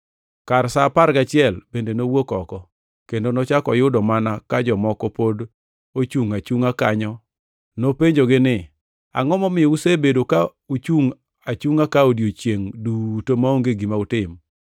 Kar sa apar gachiel bende nowuok oko, kendo nochako oyudo mana ka jomoko pod ochungʼ achungʼa kanyo. Nopenjogi ni, ‘Angʼo momiyo usebedo ka uchungʼ achungʼa ka odiechiengʼ duto maonge gima utim?’ ”